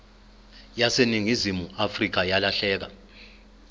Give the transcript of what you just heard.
yaseningizimu afrika yalahleka